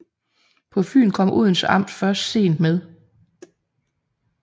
På Fyn kom Odense amt først sent med